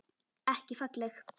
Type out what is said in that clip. Ekki falleg.